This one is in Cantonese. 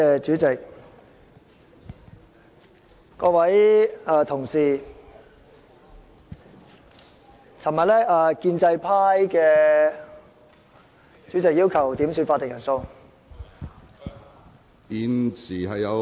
主席，各位同事，昨天建制派......主席，我要求點算法定人數。